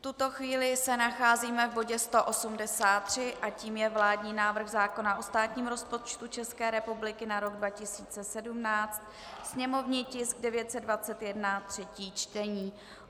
V tuto chvíli se nacházíme v bodě 183 a tím je vládní návrh zákona o státním rozpočtu České republiky na rok 2017, sněmovní tisk 921, třetí čtení.